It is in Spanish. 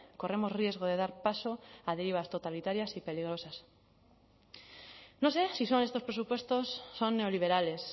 corremos riesgo de dar paso a derivas totalitarias y peligrosas no sé si son estos presupuestos son neoliberales